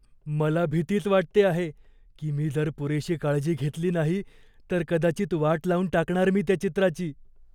मला भीतीच वाटते आहे की मी जर पुरेशी काळजी घेतली नाही तर कदाचित वाट लावून टाकणार मी त्या चित्राची.